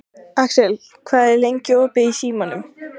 Axel, hvað er lengi opið í Símanum?